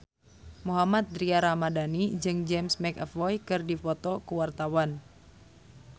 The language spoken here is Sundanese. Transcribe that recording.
Mohammad Tria Ramadhani jeung James McAvoy keur dipoto ku wartawan